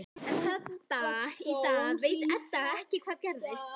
Enn þann dag í dag veit Edda ekki hvað gerðist.